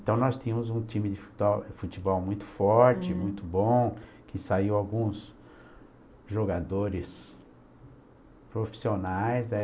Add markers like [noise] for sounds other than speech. Então nós tínhamos um time de [unintelligible] futebol muito forte, muito bom, que saiu alguns jogadores profissionais, né?